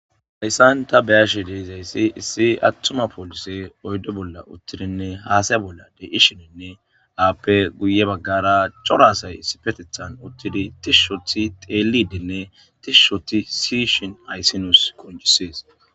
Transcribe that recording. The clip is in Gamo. Hayssan ta beyashe deezayssi issi attuma poolise oyddo bolla uttidinne haasaya bolladey ishininne aappe guye baggara corasay sipetethan uttidi tishshothi teelidinne tishushoti siyishin ayssinus konjisees.